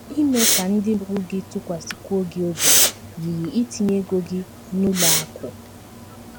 Ime ka ndị mụrụ gị tụkwasịkwuo gị obi yiri itinye ego gị n’ụlọ akụ̀.